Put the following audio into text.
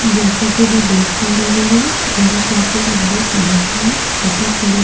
जैसा कि मैं देख पा रही हूं यह काफी लंबी सड़क है तथा सड़क--